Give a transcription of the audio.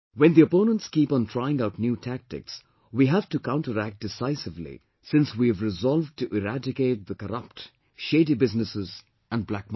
When the opponents keep on trying out new tactics, we have to counteract decisively, since we have resolved to eradicate the corrupt, shady businesses and black money